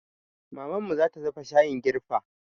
Mamanmu zata dafa shayin girfa